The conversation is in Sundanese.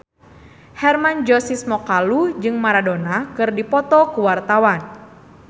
Hermann Josis Mokalu jeung Maradona keur dipoto ku wartawan